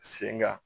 Sen kan